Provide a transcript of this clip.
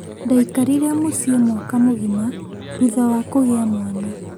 Ndaikarire mũciĩ mwaka mũgima thutha wa kũgĩa mwana